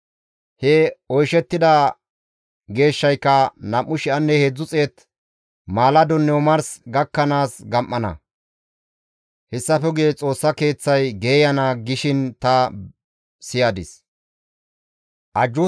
He oyshettida geeshshayka, «2,300 maaladonne omars gakkanaas gam7ana; hessafe guye Xoossa Keeththay geeyana» gishin ta siyadis.